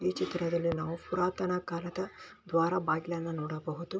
ಈ ಚಿತ್ರದಲ್ಲಿ ನಾವು ಪುರಾತನ ಕಾಲದ ದ್ವಾರ ಬಾಗಿಲನ್ನು ನೋಡಬಹುದು .